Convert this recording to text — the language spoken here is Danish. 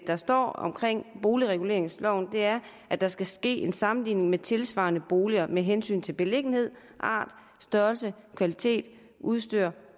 der står i boligreguleringsloven er at der skal ske en sammenligning med tilsvarende boliger med hensyn til beliggenhed art størrelse kvalitet udstyr